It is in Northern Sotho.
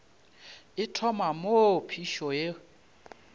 e thoma moo phišo e